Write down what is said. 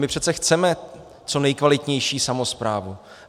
My přece chceme co nejkvalitnější samosprávu.